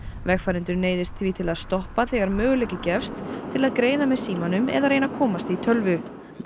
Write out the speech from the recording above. vegfarendur neyðist því til að stoppa þegar möguleiki gefst til að greiða með símanum eða reyna að komast í tölvu